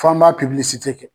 F'an b'a kɛ.